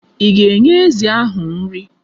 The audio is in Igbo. Ị ga-enye ezi ahụ nri?